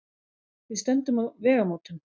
Við stöndum á vegamótum.